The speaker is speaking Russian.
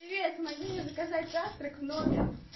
привет помоги мне заказать завтрак в номер